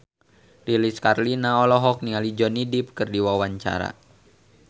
Lilis Karlina olohok ningali Johnny Depp keur diwawancara